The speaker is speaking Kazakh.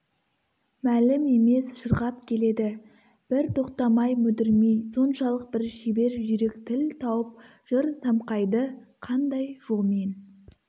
мәлім емес шырқап келеді бір тоқтамай мүдірмей соншалық бір шебер жүйрік тіл тауып жыр самқайды қандай жолмен